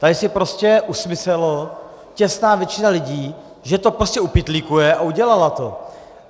Tady si prostě usmyslela těsná většina lidí, že to prostě upytlíkuje, a udělala to.